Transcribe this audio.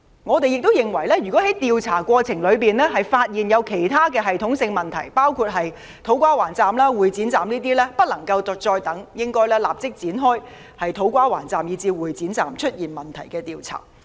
我們亦認為，在調查過程中如發現其他系統性問題，包括土瓜灣站及會展站，便不能再等，應立即就出現問題的車站工程展開調查。